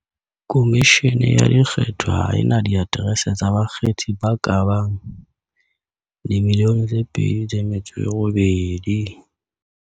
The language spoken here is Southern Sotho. "Khomishene ya Dikgetho ha e na diaterese tsa bakgethi ba ka bang 2.8 milione."